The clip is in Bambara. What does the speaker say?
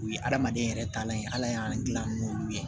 U ye hadamaden yɛrɛ taalan ye ala y'an gilan n'olu ye